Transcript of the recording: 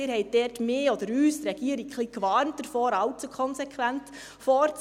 Sie haben mich oder uns – die Regierung – dort ein bisschen davor gewarnt, allzu konsequent vorzugehen.